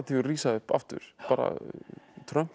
rísa upp aftur Trump er